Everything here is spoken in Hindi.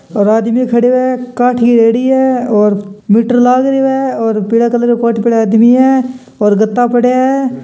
और आदमी खड़े है काठी रेडी है और मीटर लागरो है और पिले कलर को कोट पहरा आदमी हैं और गदा पड़े हैं।